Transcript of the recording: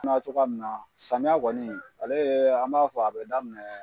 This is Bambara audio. cogoya min na samiyɛ kɔni ale ye an b'a fɔ a bi daminɛ